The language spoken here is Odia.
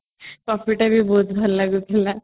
coffee ଟା ବି ବହୁତ ଭଲ ଲାଗୁଥିଲା